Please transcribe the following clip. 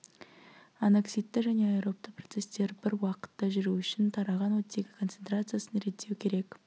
аноксидті және аэробты процесстер бір уақытта жүру үшін тараған оттегі концентрациясын реттеу керек